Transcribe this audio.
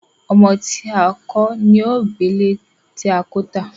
ọmọ tí a kò lon gbé ilé tí a kò tá.